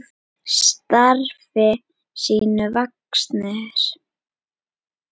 Starfi sínu vaxnir.